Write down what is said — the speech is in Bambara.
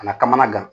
Kana kamanagan